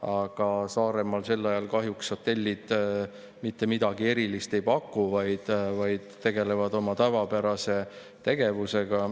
Aga Saaremaal sel ajal kahjuks hotellid mitte midagi erilist ei paku, vaid tegelevad oma tavapärase tegevusega.